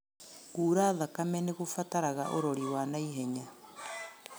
Kura thakame nĩgũbataraga ũrori wa na ihenya